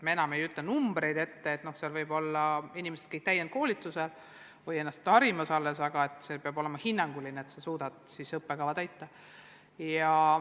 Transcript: Me enam ei ütle numbreid ette, et seal võib-olla kõik inimesed peavad olema täiendkoolitusel või ennast muul moel harimas, aga peab olema tõenäoline, et kool suudab õppekava täita.